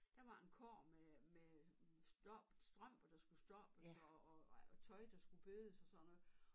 Der var en kurv med med stoppet strømper der skulle stoppes og og tøj der skulle bødes og sådan noget